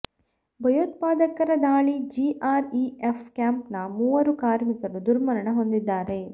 ಭಯೋತ್ಪಾದಕರ ದಾಳಿ G R E F camp ನ ಮೂವರು ಕಾರ್ಮಿಕರು ದುರ್ಮರಣ ಹೊಂದಿದ್ದಾರೆ